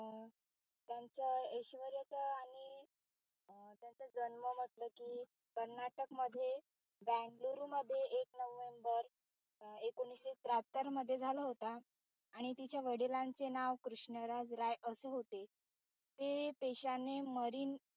कर्नाटक मध्ये बंगलोरु मध्ये एक नोव्हेंबर एकोणीशे त्र्यात्तर मध्ये झाला होता. आणि तिच्या वडिलांचे नाव कृष्णराज राय असे होते. ते पेशाने मरीन